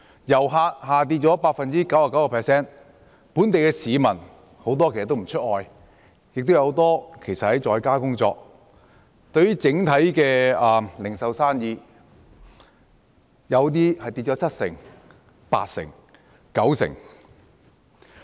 遊客人數下跌 99%， 本地市民很多也不出外，亦有很多人在家工作，零售業的生意有些下跌七成、八成甚至九成。